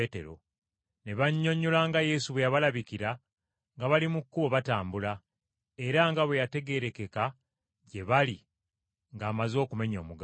Ne bannyonnyola, nga Yesu bwe yabalabikira nga bali mu kkubo batambula, era nga bwe yategeerekeka gye bali ng’amaze okumenya omugaati.